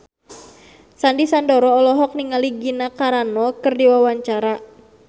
Sandy Sandoro olohok ningali Gina Carano keur diwawancara